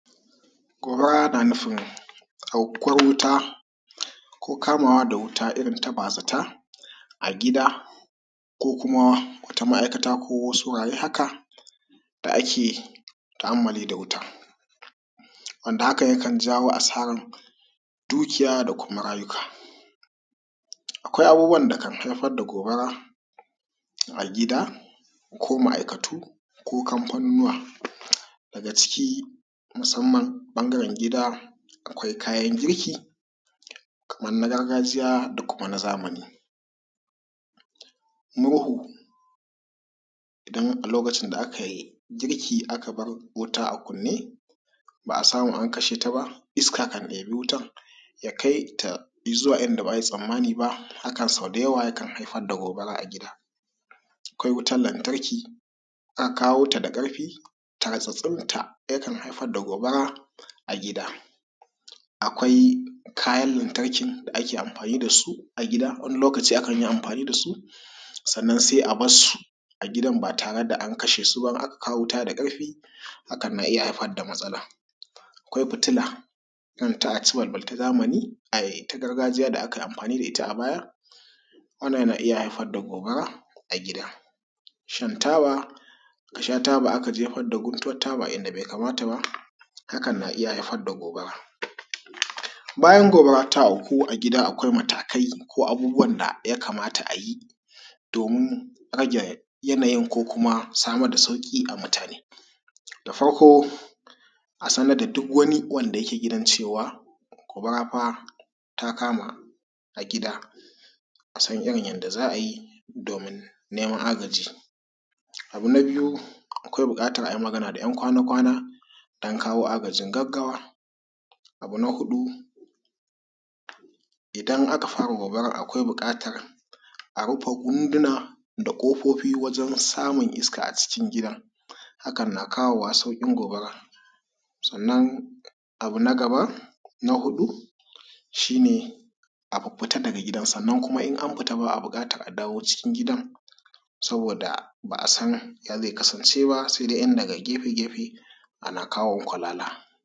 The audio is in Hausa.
Gobara na nufin afkuwar wuta ko kamawar wuta irin ta bazata a gida ko kum wata ma'aikata kuma wasu wuraren haka ake ta'ammali da wuta, hakan kan jawo asara na dukiya da. Kuma rayuka. Akwai abubuwan da kan haifar da gobara a gidan ko ma'aikatu ko kamfanoniwa musamman ɓangaren gida akwai kayan girki kamar na gargajiya na zamani. Murhu idana a lokacin da aka yi gurki aka bar wuta a kunne ba a samu an kashe ta ba, iska kan ɗebi wutar ya kai ta idan ba a yi tsammani ba haka sau da yawa kan haifar da gobara a gida. Akwai wutar lantarki tartsatsinta yakan haifar da gobara a gida. Akwai kayan lantarki da ake amfani da su a gida wani, lokaci kan yi amfani da su a gida sannan sai a bar su ba tare da an kashe su. Idan aka kawo wuta da ƙarfi hakn na iya haifar da matsala. Akwai fitila kanta a ci balbal ta gargajiya da aka ui amfani da ita a baya wannan na iya haifar da gobara a gida, shan taba akajefar da gutuwan taba inda bai kamata ba hakn na iya haifar da gobara. Bayan gibara ta auku a gida akwai matakai ko abubuwan da ya kamata a yi don samar da sauƙi ga mutune. Da farko a sanar da duk wani wanda yake gidan cewa gobara fa ta kama a gida a san yadda za a yi neman agaji. Abu na biyu akwai buƙatar a yi magana da 'yan kwana-kwana a kawo agajin gaggawa. Abu na huɗu idan aka fara gobarar ya kamata a rufe hunduna kofi wajen samun iska a cikin gidan, hakan na kawo sauƙin gobarar. Sannan abu na gaba shi ne, a fita daga gidan sannan idan an fita ba a dawowa cikin gidan Saboda ba a san ya zai kasance ba sai dai ta gefe ana kawo kwalala.